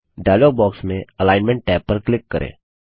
dialogue box में alignment tab पर click करें